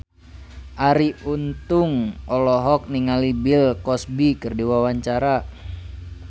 Arie Untung olohok ningali Bill Cosby keur diwawancara